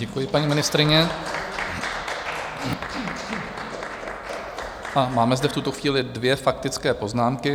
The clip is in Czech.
Děkuji, paní ministryně, a máme zde v tuto chvíli dvě faktické poznámky.